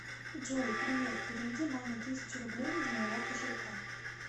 джой привет переведи маме тысячу рублей из моего кошелька